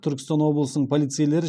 түркістан облысының полицейлері